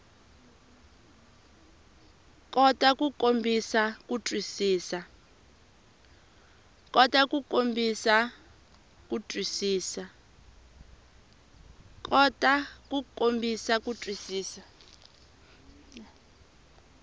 kota ku kombisa ku twisisa